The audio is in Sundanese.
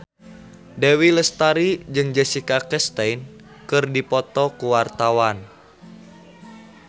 Dewi Lestari jeung Jessica Chastain keur dipoto ku wartawan